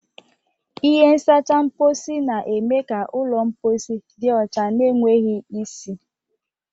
Ihe nsacha mposi na-eme ka ụlọ mposi dị ọcha na enweghị isi.